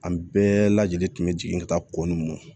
An bɛɛ lajɛlen tun bɛ jigin ka taa ko n mɔ